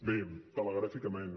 bé telegràficament